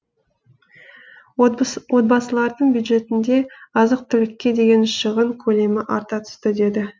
отбасылардың бюджетінде азық түлікке деген шығын көлемі арта түсті деді